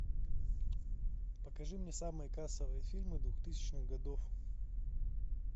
покажи мне самые кассовые фильмы двухтысячных годов